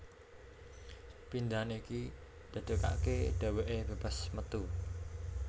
Pindhahan iki dadekake dheweke bebas metu